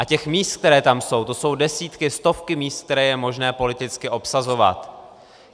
A těch míst, která tam jsou, to jsou desítky, stovky míst, která je možné politicky obsazovat.